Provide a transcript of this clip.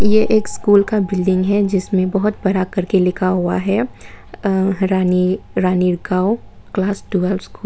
ये एक स्कूल का बिल्डिंग है जिसमें बहुत बड़ा करके लिखा हुआ है अ Rani Ranigaon class twelve school --